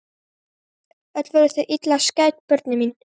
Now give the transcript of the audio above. Öll voru þau illa skædd börnin mín.